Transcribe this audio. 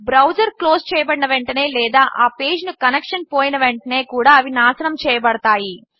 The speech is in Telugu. బ్రౌజర్ క్లోజ్ చేయబడిన వెంటనే లేదా ఆ పేజ్ కు కనెక్షన్ పోయిన వెంటే కూడా అవి నాశనము చేయబడతాయి